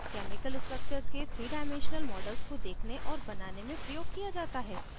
chemical structures के 3 dimensional models को देखने और बनाने में प्रयोग किया जाता है